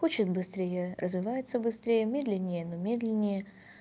хочет быстрее развивается быстрее медленнее оно медленнее